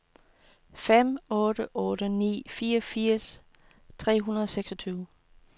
fem otte otte ni fireogfirs tre hundrede og seksogtyve